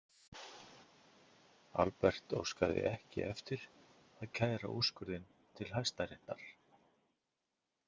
Albert óskaði ekki eftir að kæra úrskurðinn til Hæstaréttar.